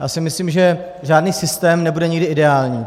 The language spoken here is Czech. Já si myslím, že žádný systém nebude nikdy ideální.